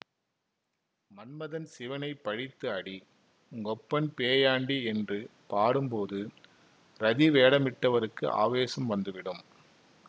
மன்மதன் சிவனைப் பழித்து அடி உங்கப்பன் பேயாண்டி என்று பாடும்போது ரதி வேடமிட்டவருக்கு ஆவேசம் வந்து விடும்